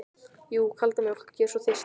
Jú, kalda mjólk, ég er svo þyrst.